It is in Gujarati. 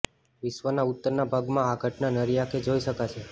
વિશ્વના ઉત્તરના ભાગમાં આ ઘટના નરી આંખે જોઈ શકાશે